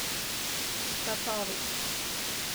Tatovi.